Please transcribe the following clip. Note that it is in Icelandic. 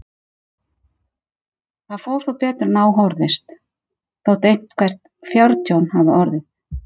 Það fór þó betur en á horfðist, þótt eitthvert fjártjón hafi orðið.